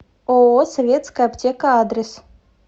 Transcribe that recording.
ооо советская аптека адрес